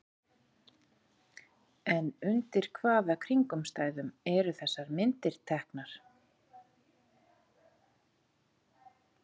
En undir hvaða kringumstæðum eru þessar myndir teknar?